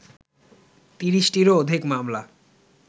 ৩০টিরও অধিক মামলা